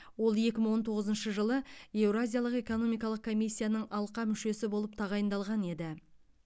ол екі мың он тоғызыншы жылы еуразиялық экономикалық комиссияның алқа мүшесі болып тағайындалған еді